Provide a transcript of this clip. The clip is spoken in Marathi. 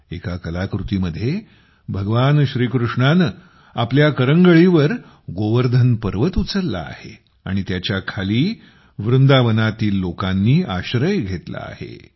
एका कलाकृतीमध्ये भगवान श्रीकृष्णाने आपल्या करंगळीवर गोवर्धन पर्वत उचलला आहे आणि त्याच्या खाली वृंदावनातील लोकांनी आश्रय घेतला आहे